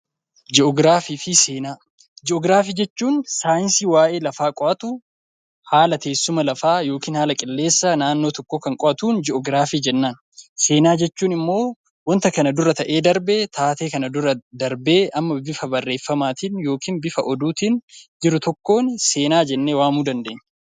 Ji'oogiraafii fi seenaa Ji'oogiraafii jechuun saayinsii waa'ee lafaa qoratu, haala teessuma lafaa yookaan haala qilleensa kan qo'atun ji'oogiraafii jennaan. Seenaa jechuun immoo waanta kana dura darbe, waan darbe bifa barreeffamaatiin yookaan bifa oduutiin jiru tokkoon seenaa jennee waamuu dandeenya.